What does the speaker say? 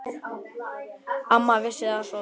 Amma vissi það svo vel.